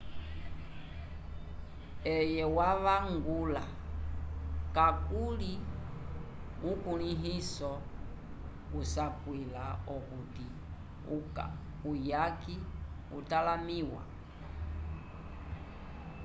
eye wavangula kakuli ukulĩhiso usapwila okuti uyaki utalamĩwa